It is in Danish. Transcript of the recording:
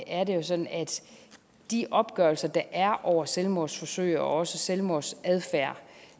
er det sådan at i de opgørelser der er over selvmordsforsøg og også selvmordsadfærd